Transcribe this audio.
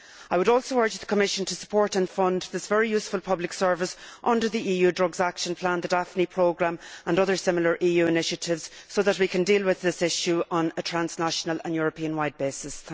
I would also urge the Commission to support and fund this very useful public service under the EU drugs action plan, the Daphne Programme, and other similar EU initiatives, so that we can deal with this issue on a transnational and Europe wide basis.